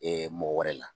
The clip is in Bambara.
mɔgɔ wɛrɛ la